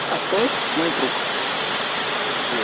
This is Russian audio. а стоит мой друг